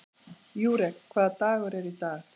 Júrek, hvaða dagur er í dag?